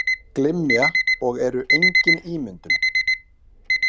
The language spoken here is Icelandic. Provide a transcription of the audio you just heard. Glymja og eru engin ímyndun.